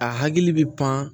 A hakili bɛ pan